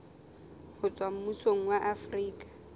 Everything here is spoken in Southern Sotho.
ho tswa mmusong wa afrika